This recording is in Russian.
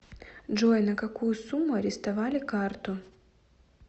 джой на какую сумму арестовали карту